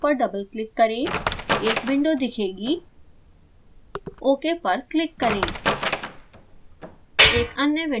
function block पर double click करें एक विंडो दिखेगी ok पर क्लिक करें